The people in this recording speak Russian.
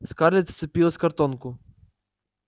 скарлетт вцепилась в картонку